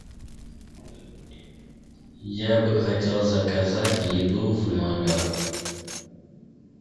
я бы хотел заказать еду в номер